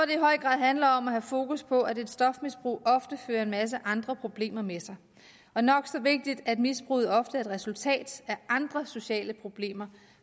i høj grad handler om at have fokus på at et stofmisbrug ofte fører en masse andre problemer med sig og nok så vigtigt at misbruget ofte er et resultat af andre sociale problemer